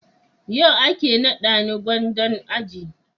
yau ake nada ni gwandan aji